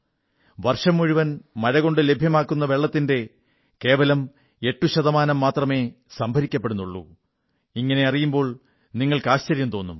വർഷംമുഴുവൻ മഴകൊണ്ട് ലഭ്യമാകുന്ന വെള്ളത്തിന്റെ കേവലം 8 ശതമാനം മാത്രമേ സംഭരിക്കപ്പെടുന്നുള്ളൂ എന്നറിയുമ്പോൾ നിങ്ങൾക്ക് ആശ്ചര്യം തോന്നും